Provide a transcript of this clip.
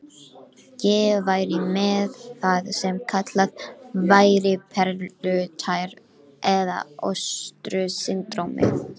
Ég væri með það sem kallað væri perlutær eða ostru-syndrómið